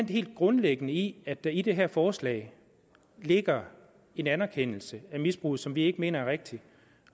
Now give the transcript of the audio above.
det helt grundlæggende i at der i det her forslag ligger en anerkendelse af misbruget som vi ikke mener er rigtig